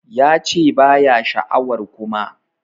Ya che ba ya sha'awar Kuma.